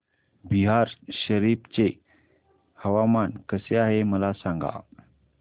बिहार शरीफ चे हवामान कसे आहे मला सांगा